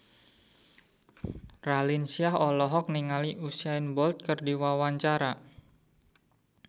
Raline Shah olohok ningali Usain Bolt keur diwawancara